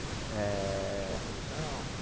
Eh Tinha uma produção?